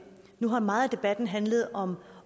nu har meget af debatten handlet om